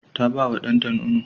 Ta ba wa ɗanta nono.